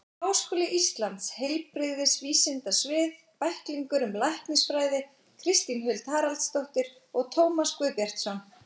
Háskóli Íslands: Heilbrigðisvísindasvið- Bæklingur um læknisfræði Kristín Huld Haraldsdóttir og Tómas Guðbjartsson.